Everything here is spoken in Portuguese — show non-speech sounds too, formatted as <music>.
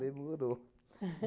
Demorou. <laughs>